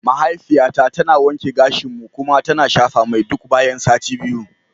Mahaifiyata tana wanke gashinmu kuma tana shafa mai duk bayan sati biyu.